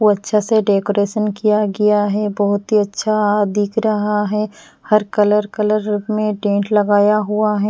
को अच्छा से डेकोरेशन किया गया है बहुत ही अच्छा दिख रहा है हर कलर कलर में टेंट लगाया हुआ है।